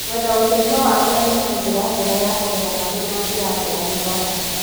Gwetha ũteithio wa arĩa mena ũmenyo ta kũrera mwana na njĩra njega nĩ gwa bata.